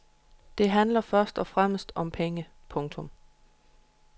Det handlede først og fremmest om penge. punktum